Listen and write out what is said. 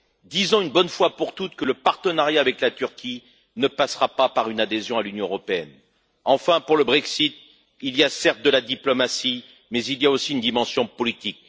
Disons une bonne fois pour toutes que le partenariat avec la Turquie ne passera pas par une adhésion à l'Union européenne. Enfin, pour le Brexit, il y a certes de la diplomatie, mais aussi une dimension politique.